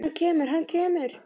Hann kemur, hann kemur!!